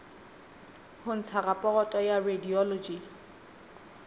ho ntsha raporoto ya radiology